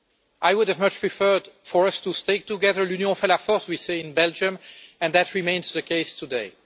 I would have much preferred for us to stay together. we say in Belgium, and that remains the case today.